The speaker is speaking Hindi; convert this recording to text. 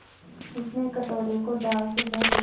उसने कटोरे को दाल से भर दिया